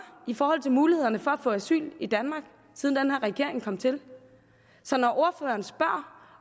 i forhold til mulighederne for at få asyl i danmark siden den her regering kom til så når ordføreren spørger